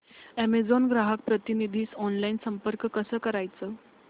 Amazon ग्राहक प्रतिनिधीस online संपर्क कसा करायचा